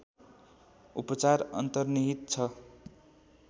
उपचार अन्तर्निहित छ